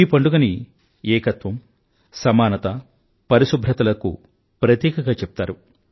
ఈ పండుగని ఏకత్వం సమానత పరిశుభ్రతలకు ప్రతీకగా చెప్తారు